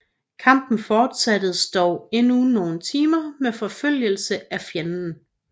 Kampen fortsattes dog endnu nogle timer med forfølgelse af fjenden